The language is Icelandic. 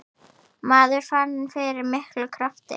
Maður fann fyrir miklum krafti.